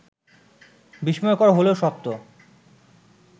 বিস্ময়কর হলেও সত্য